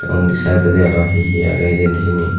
undi saidodi aaro hehe aagey hejeni siyani.